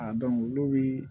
A dɔn olu bi